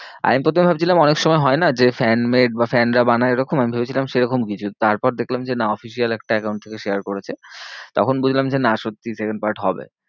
আমি প্রথমে ভাবছিলাম অনেক সময় হয় না? যে fan made বা fan রা বানায় ওরখম। আমি ভেবেছিলাম সেরকম কিছু তারপর দেখলাম যে না official একটা account থেকে share করেছে। তখন বুঝলাম যে না সত্যি second part হবে।